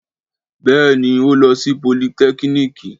Béè ni. O lo si politẹ́kìnìkì.